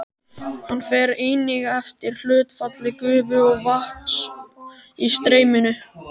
Hann fer einnig eftir hlutfalli gufu og vatns í streyminu.